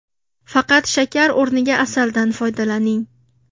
Faqat shakar o‘rniga asaldan foydalaning.